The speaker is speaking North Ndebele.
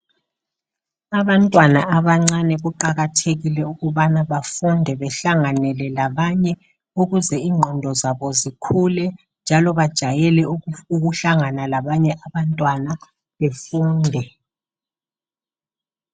Abantwana abancane kuqakathekile ukubana bafunde behlanganele labanye ukuze ingqondo zabo zikhule njalo bajayele ukufu ukuhlangana labanye abantwana befunde.